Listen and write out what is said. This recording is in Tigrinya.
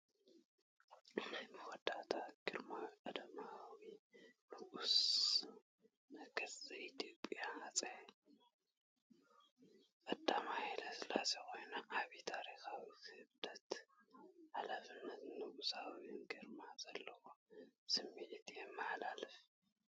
ናይ መወዳእታ ግርማዊ ቀዳማዊ ንጉሰ ነገስ ዘ- ኢትዮጵያ ሃጸይ ቀዳማይ ሃይለስላሴ ኮይኑ ዓቢ ታሪኻዊ ክብደት፣ ሓላፍነት፣ ንጉሳዊ ግርማ ዘለዎ ስምዒት የመሓላልፍ።